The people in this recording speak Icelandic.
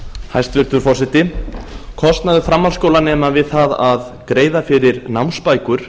hæstvirtur forseti kostnaður framhaldsskólanema við það að greiða fyrir námsbækur